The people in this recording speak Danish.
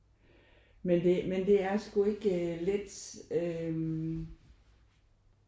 Men det men det er sgu ikke let øh